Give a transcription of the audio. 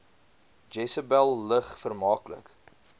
jesebel lig vermaaklik